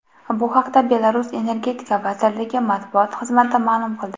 Bu haqda Belarus energetika vazirligi matbuot xizmati ma’lum qildi .